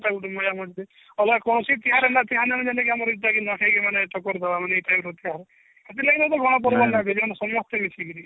ଅଲଗା କୌନସି ତିହାର ଜେନ୍ତା କି ଆମର ଗୁଟେ କି ନୂଆଖାଇ ଗଣ ପର୍ବ ସମସ୍ତେ ମିଶିକିରି